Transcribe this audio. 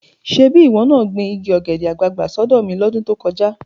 Ṣebí ìwọ náà gbin igi ọ̀gẹ̀dẹ̀ àgbààgbà sọ́dọ̀ mi lọ́dún tó kọjá.